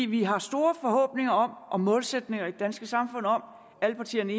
vi har store forhåbninger og målsætninger i det danske samfund om alle partierne